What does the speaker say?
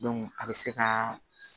a bɛ se ka